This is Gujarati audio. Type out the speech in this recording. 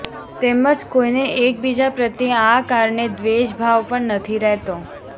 તેમજ કોઈને એકબીજા પ્રત્યે આ કારણે દ્વેષ ભાવ પણ નથી રહેતો